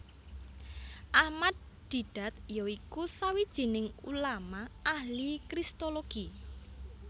Ahmad Deedat ya iku sawijining ulama ahli kristologi